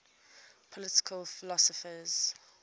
political philosophers